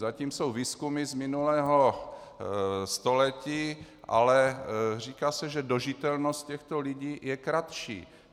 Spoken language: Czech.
Zatím jsou výzkumy z minulého století, ale říká se, že dožitelnost těchto lidí je kratší.